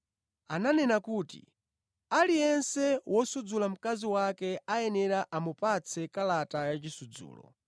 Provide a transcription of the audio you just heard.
“Ananena kuti, ‘Aliyense wosudzula mkazi wake ayenera amupatse kalata ya chisudzulo.’